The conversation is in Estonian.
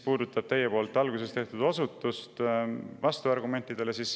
Te alguses osutasite vastuargumentidele.